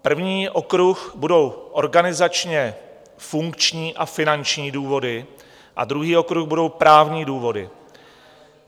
První okruh budou organizačně funkční a finanční důvody a druhý okruh budou právní důvody.